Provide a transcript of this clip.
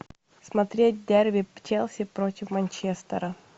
смотреть дерби челси против манчестера